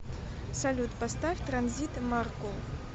салют поставь транзит маркул